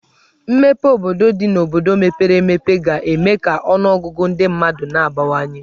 Mmepe obodo dị n'obodo mepere emepe ga-eme ka ọnụọgụgụ ndị mmadụ n'abawanye.